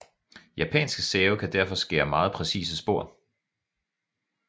Japanske save kan derfor skære meget præcise spor